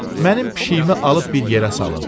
Mənim pişiyimi alıb bir yerə salın.